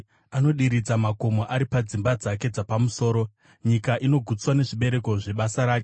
Anodiridza makomo ari padzimba dzake dzapamusoro; nyika inogutswa nezvibereko zvebasa rake.